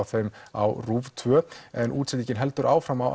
þeim á Rúv tvö en útsendingin heldur áfram á